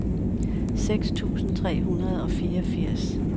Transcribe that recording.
seks tusind tre hundrede og fireogfirs